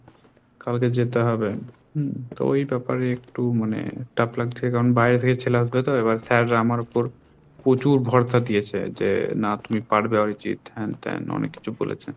কালকে যেতে হবে হম তো ওই ব্যাপারে একটু মানে চাপ লাগছে কারণ বাইরে থেকে ছেলে আসবে তো এবার sir রা আমার উপর প্রচুর ভরসা দিয়েছে যে না তুমি পারবে অরিজিৎ হেন তেন অনেক কিছু বলেছে।